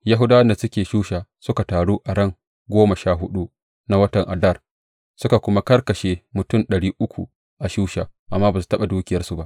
Yahudawan da suke Shusha suka taru a ran goma sha huɗu na watan Adar suka kuma karkashe mutum ɗari uku a Shusha, amma ba su taɓa dukiyarsu ba.